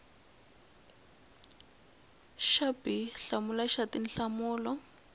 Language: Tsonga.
xa b hlamula xa tinhlamulo